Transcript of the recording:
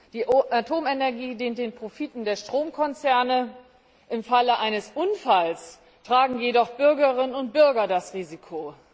Die Atomenergie dient den Profiten der Stromkonzerne, im Falle eines Unfalls tragen jedoch die Bürgerinnen und Bürger das Risiko.